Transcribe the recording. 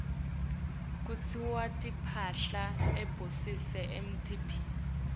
kutsiwa timphahla tabosesi atibiti